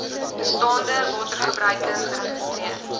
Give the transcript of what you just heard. bestaande watergebruike geregistreer